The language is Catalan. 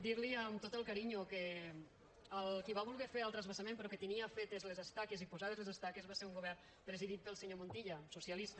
dir li amb tot el carinyo que qui va voler fer el transvasament però que tenia fetes les estaques i posades les estaques va ser un govern presidit pel senyor montilla socialista